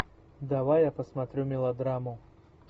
давай я посмотрю мелодраму